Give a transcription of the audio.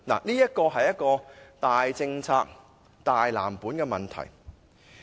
這是大政策、大藍圖的問題。